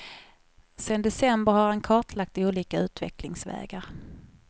Sedan december har han kartlagt olika utvecklingsvägar.